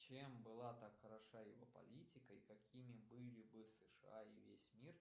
чем была так хороша его политика и какими были бы сша и весь мир